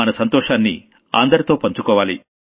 మన సంతోషాన్ని అందరితో పంచుకోవాలి